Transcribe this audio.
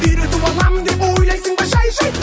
үйретіп аламын деп ойлайсың ба жай жай